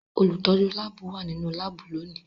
Olutọju laabu wa ninu laabu loni.